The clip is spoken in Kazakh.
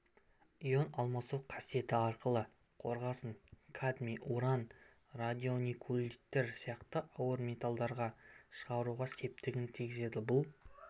йон алмасу қасиеті арқылы қорғасын кадмий уран радионикулиттер сияқты ауыр металдарды шығаруға септігін тигізеді бұл